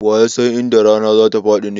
Wa ya san inda rana za ta faɗi ne?